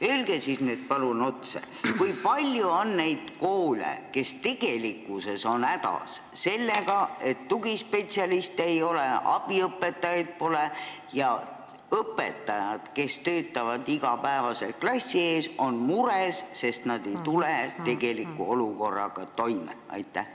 Öelge nüüd palun otse, kui palju on neid koole, kes tegelikkuses on hädas sellega, et tugispetsialiste ei ole, abiõpetajaid pole ja õpetajad, kes töötavad iga päev klassi ees, on mures, sest nad ei tule tegeliku olukorraga toime!